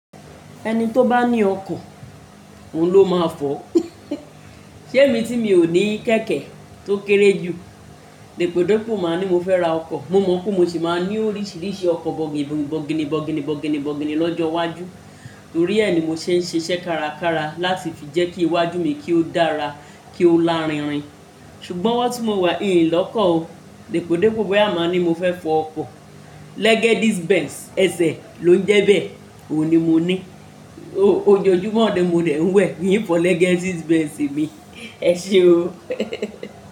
Ẹni tó bá ní ọkọ̀, òun ló máa fọ̀. Ṣé èmi tí mi ò ní kẹ̀kẹ́ tó kéré jù, Dèpòdépò máa ń ní mo fẹ́ ra ọkọ̀. Mo mọ̀ pé mo sì máa ní oríṣiríṣi ọkọ̀ bọ̀gìnì bọ̀gìnì bọ̀gìnì bọ̀gìnì lọ́jọ́ iwájú. Torí ẹ ni mo ṣe ń ṣiṣẹ́ kárakára láti fi jẹ́ kí iwájú mi kí ó dára, kí ó lárinrin. Ṣùgbọ́n owọ́ tí mo wà ìn lọ́kọ̀ o. Dèpòdépò báyìí máa ń ní mo fẹ́ fọ ọkọ̀. Legacy Benz, ẹsẹ̀ ló ń jẹ bẹ́, òun ni mo ní. Ojoojúmọ́ ni mo dè ń wẹ̀ ín fó Legacy Benz mi. Ẹ ṣe o.